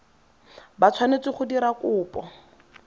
ba tshwanetse go dira kopo